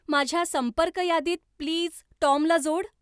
माझ्या संपर्क यादीत प्लीज टॉमला जोड.